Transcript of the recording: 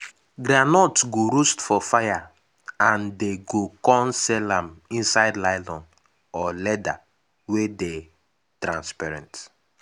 groundnut go roast for fire and dey go con sell am inside nylon or leather wey dey transparent.